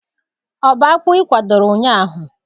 Ọ bu akpụ ikwadoro ụnyaahụ?